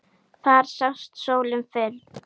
Þar sást sólin fyrr.